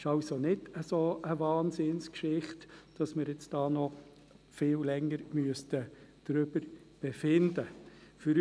Es ist also nicht so eine Wahnsinnsgeschichte, als dass wir jetzt hier noch viel länger darüber befinden müssten.